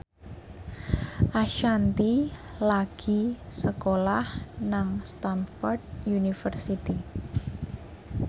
Ashanti lagi sekolah nang Stamford University